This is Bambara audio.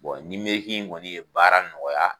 kɔni ye baara nɔgɔya.